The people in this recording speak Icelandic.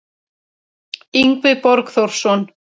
Yngvi Borgþórsson